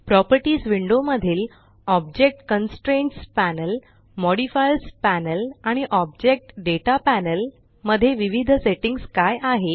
properties window मधील object constraints panel modifiers panel आणि object data panel मध्ये विविध सेट्टिंग्स काय आहे